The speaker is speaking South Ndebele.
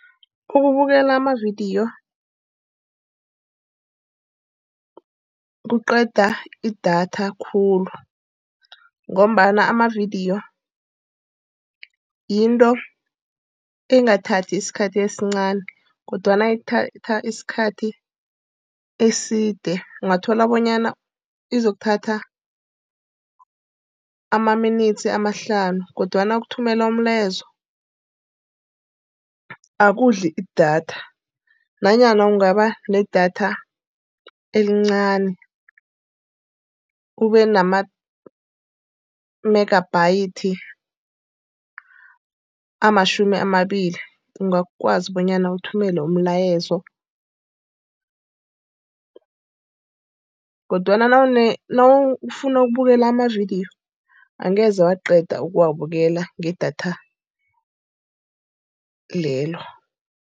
Ukubukela amavidiyo kuqeda idatha khulu, ngombana amavidiyo yinto engathathi isikhathi esincani. Kodwana ithatha isikhathi eside, ungathola bonyana izokuthatha ema-minutes amahlanu. Kodwana ukuthumela umlayezo akudli idatha nanyana kungaba nedatha elincani ube nama-megabytes amatjhumi amabili ungakwazi bonyana uthumele umlayezo. Kodwana nawufuna ukubukela amavidiyo angeze waqeda ukuwabukela ngedatha lelo.